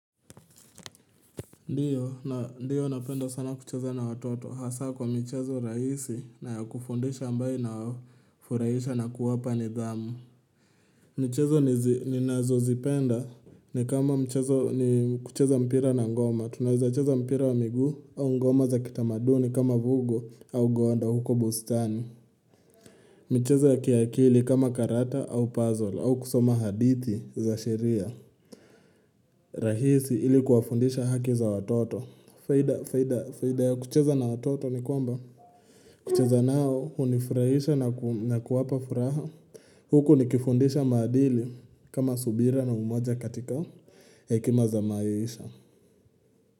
Ndiyo na ndio napenda sana kucheza na watoto hasa kwa michezo raisi na ya kufundisha ambayo ina wafuraisha na kuwapa nidhamu michezo nizi ni nazo zipenda ni kama mchezo ni kucheza mpira na ngoma tunaezacheza mpira wa miguu au ngoma za kitamaduni kama vugo au gonda huko bustani michezo ya kiakili kama karata au puzzle au kusoma hadithi za sheria rahisi ilikuwa fundisha haki za watoto faida, faida, faida ya kucheza na watoto ni kwamba kucheza nao hunifurahisha na kuwapa furaha Huku nikifundisha maadili kama subira na umoja katika Hekima za maisha.